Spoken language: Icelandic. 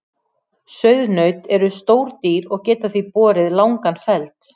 Sauðnaut eru stór dýr og geta því borið langan feld.